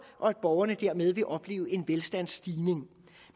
og at borgerne dermed vil opleve en velstandsstigning